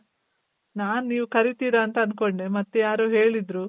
ನಾನ್ ನೀವ್ ಕರಿತಿರ ಅಂತ ಅನ್ಕೊಂಡೆ ಮತ್ ಯಾರೋ ಹೇಳಿದ್ರು.